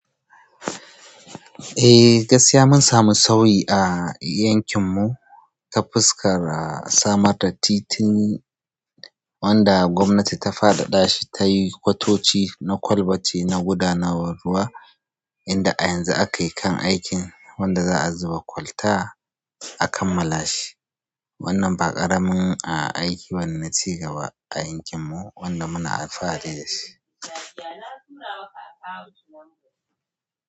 Eh, gaskiya mun samu sauyi a yankin mu ta fuskar samar da titin wanda gwamanti ta faɗaɗashi tayi kwatatoci na kwalbati na gudanar ruwa inda a yanzu aka yi kan aikin wanda za a zuba kwalta a kammala shi. Wannan ba ƙaramin aiki ba ne na ci gaba a yankin mu wanda muna alfahari da shi.